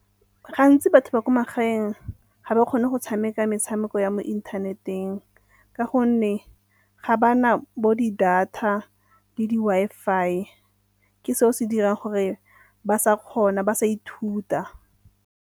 Gantsi batho ba ko magaeng ga ba kgone go tshameka metshameko ya mo inthaneteng ka gonne ga ba na bo di-data le di-Wi-Fi ke se'o se dirang gore ba sa kgona ba sa ithuta.